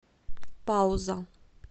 пауза